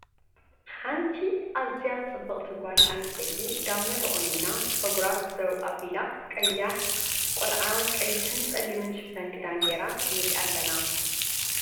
ሓንቲ ኣዝያ ፅብቅቲ ጋል ኣንስተይቲ ጋመ ተቆኒና ፀጉራ ዘው ኣቢላ ቀያሕ ቆልዓ ቀይሕን ፀሊምን ሽፈን ክዳን ጌራ ንሪኣ ኣለና ።